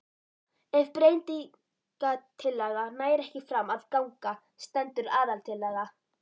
Ef breytingatillaga nær ekki fram að ganga stendur aðaltillaga.